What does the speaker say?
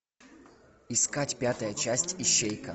искать пятая часть ищейка